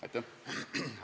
Aitäh!